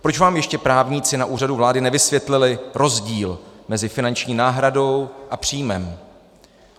Proč vám ještě právníci na Úřadu vlády nevysvětlili rozdíl mezi finanční náhradou a příjmem?